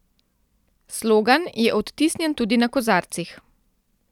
Slogan je odtisnjen tudi na kozarcih.